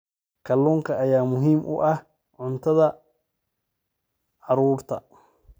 Kalluunka ayaa muhiim u ah cuntada carruurta.